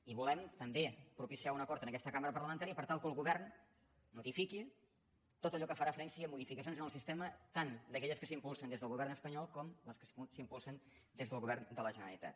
i volem també propiciar un acord en aquesta cambra parlamentària per tal que el govern notifiqui tot allò que fa referència a modificacions en el sistema tant d’aquelles que s’impulsen des del govern espanyol com les que s’impulsen des del govern de la generalitat